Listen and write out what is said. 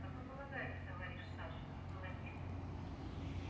как вы полагаете товарищ саша он был один